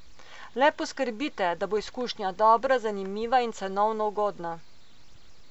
Le poskrbite, da bo izkušnja dobra, zanimiva in cenovno ugodna.